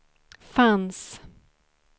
fanns